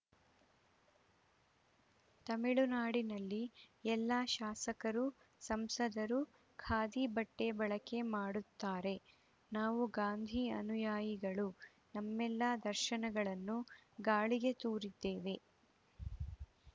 ತಮಿಳುನಾಡಿನಲ್ಲಿ ಎಲ್ಲಾ ಶಾಸಕರು ಸಂಸದರು ಖಾದಿ ಬಟ್ಟೆಬಳಕೆ ಮಾಡುತ್ತಾರೆ ನಾವು ಗಾಂಧಿ ಅನುಯಾಯಿಗಳು ನಮ್ಮೆಲ್ಲ ದರ್ಶಗಳನ್ನು ಗಾಳಿಗೆ ತೂರಿದ್ದೇವೆ